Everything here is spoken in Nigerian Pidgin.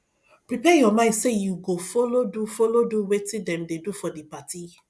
prepare your mind say you go follow do follow do wetin dem de do for di party